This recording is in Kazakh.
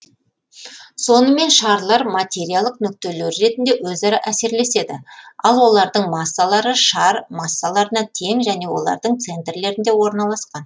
сонымен шарлар материялық нүктелер ретінде өзара әсерлеседі ал олардың массалары шар массаларына тең және олардың центрлерінде орналасқан